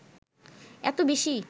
এত বেশি